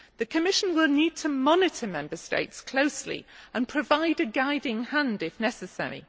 The Commission will need to monitor Member States closely and provide a guiding hand if necessary.